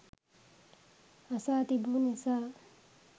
අසා තිබු නිසා